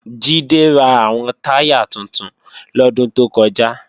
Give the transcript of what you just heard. Jídé ra àwọn táyà tuntun lọ́dún tó kọjá